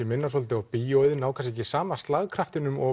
minna svolítið á bíó og ná kannski ekki sama slagkraftinum og